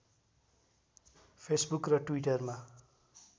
Facebook र ट्विटरमा